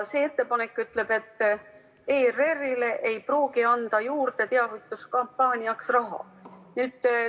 See ettepanek ütleb, et ERR-ile ei pruugiks anda teavituskampaaniaks raha juurde.